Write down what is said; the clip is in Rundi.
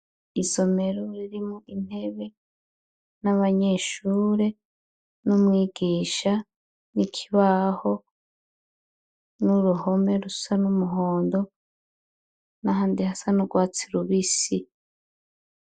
Isomero ririmwo intebe n'abanyeshure n'umwigisha n'ikibaho n'uruhome rusa numuhondo n'ahandi hasa nurwatsi rubisi.